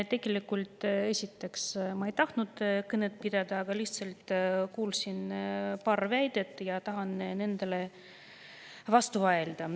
Tegelikult ma ei tahtnud kõnet pidada, aga lihtsalt kuulsin paari väidet ja tahan nendele vastu vaielda.